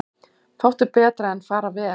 Fátt er betra en fara vel.